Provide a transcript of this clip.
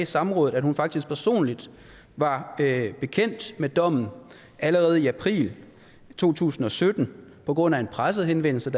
samrådet at hun faktisk personligt var bekendt med dommen allerede i april to tusind og sytten på grund af en pressehenvendelse